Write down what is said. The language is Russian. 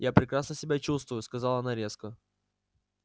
я прекрасно себя чувствую сказала она резко